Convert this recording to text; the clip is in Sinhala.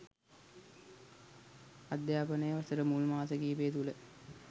අධ්‍යාපනය වසර මුල් මාස කීපය තුළ